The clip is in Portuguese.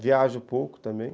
Viajo pouco também.